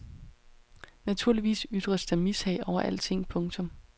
Naturligvis ytres der mishag over alting. punktum